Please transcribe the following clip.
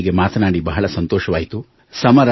ನಿಮ್ಮೊಂದಿಗೆ ಮಾತನಾಡಿ ಸಂತೋಷವಾಯಿತು